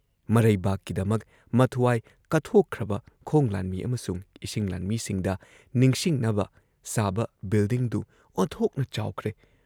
ꯃꯔꯩꯕꯥꯛꯀꯤꯗꯃꯛ ꯃꯊ꯭ꯋꯥꯏ ꯀꯠꯊꯣꯛꯈ꯭ꯔꯕ ꯈꯣꯡ ꯂꯥꯟꯃꯤ ꯑꯃꯁꯨꯡ ꯏꯁꯤꯡ ꯂꯥꯟꯃꯤꯁꯤꯡꯗ ꯅꯤꯁꯤꯡꯅꯕ ꯁꯥꯕ ꯕꯤꯜꯗꯤꯡꯗꯨ ꯑꯣꯟꯊꯣꯛꯅ ꯆꯥꯎꯈ꯭ꯔꯦ ꯫